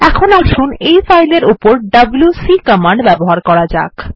এখন আসুন এই ফাইল এর উপর ডব্লিউসি কমান্ড ব্যবহার করা যাক